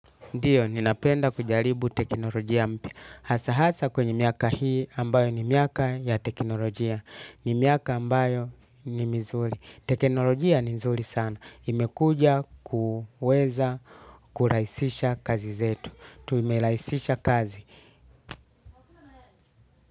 Ndiyo, ninapenda kujaribu teknolojia mpya. Hasa-hasa kwenye miaka hii ambayo ni miaka ya teknolojia. Ni miaka ambayo ni mzuri. Teknolojia ni nzuri sana. Imekuja kuweza kuraisisha kazi zetu. Tumelaisisha kazi.